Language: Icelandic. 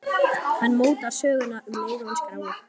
Hann mótar söguna um leið og hann skráir.